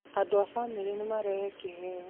Andũ a famĩlĩ nĩ marehe kiheo